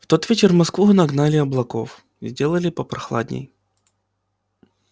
в тот вечер в москву нагнали облаков сделали попрохладней